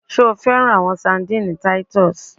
Ṣe o fẹran awọn sardines Titus?